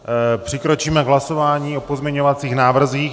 Přikročíme k hlasování o pozměňovacích návrzích.